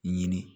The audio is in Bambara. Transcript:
Ɲini